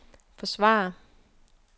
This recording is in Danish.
forsvare